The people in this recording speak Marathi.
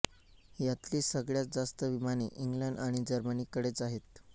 यातली सगळ्यात जास्त विमाने इंग्लंड आणि जर्मनीकडेच आहेत